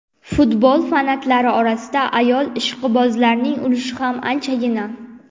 Futbol fanatlari orasida ayol ishqibozlarning ulushi ham anchagina.